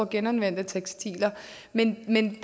genanvendte tekstiler men den